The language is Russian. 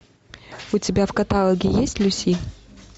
у тебя в каталоге есть люси